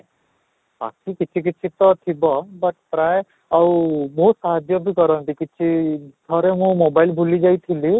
ବାକି କିଛି କିଛି ତ ଥିବ but ପ୍ରାୟ ଆଉ ବହୁତ ସାହାଯ୍ୟ ବି କରନ୍ତି କିଛି ଥରେ ମୁଁ mobile ଭୁଲି ଯାଇଥିଲି